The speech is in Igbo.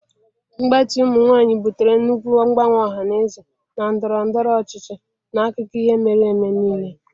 Mgbatị ụmụ nwanyị butere nnukwu mgbanwe ọha na eze na ndọrọ ndọrọ ọchịchị n'akụkọ ihe mere eme niile.